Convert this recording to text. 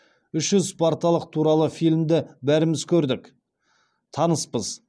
үш жүз спарталық туралы фильмді бәріміз көрдік таныспыз